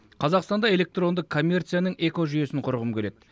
қазақстанда электронды коммерцияның экожүйесін құрғым келеді